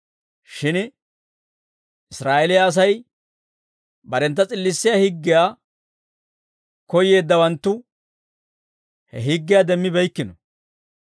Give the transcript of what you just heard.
shin Israa'eeliyaa Asay barentta s'illissiyaa higgiyaa koyyeeddawanttu he higgiyaa demmibeykkino.